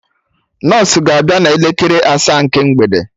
Nọsụ ga abịa na elekere asaa nke mgbede